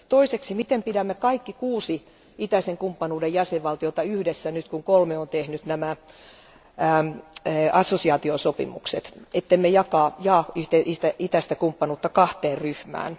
Toiseksi, miten pidämme kaikki kuusi itäisen kumppanuuden jäsenvaltiota yhdessä, kun kolme on tehnyt assosiaatiosopimukset, siten ettemme jaa itäistä kumppanuutta kahteen ryhmään?